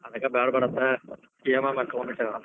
ಅದಕ್ ಬ್ಯಾಡ್ ಬ್ಯಾಡ ಅಂತ EMI ಮ್ಯಾಲ್ ತುಗೊಂಡಿಬಿಟ್ಟೆ ನಾನ್.